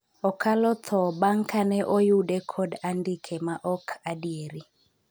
okalo tho bang' kane oyude kod andike ma ok adieri